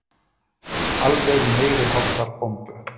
Alveg meiriháttar bombu.